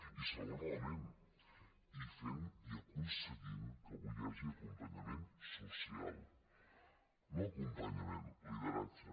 i segon element fent i aconseguint que avui hi hagi acompanyament social no acompanyament lideratge